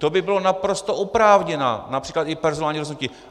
To by bylo naprosto oprávněné například i personální rozhodnutí.